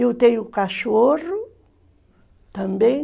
Eu tenho cachorro também.